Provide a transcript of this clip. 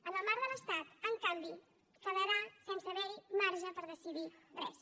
en el marc de l’estat en canvi quedarà sense haver hi marge per decidir res